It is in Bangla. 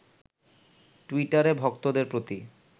টুইটারে ভক্তদের প্রতি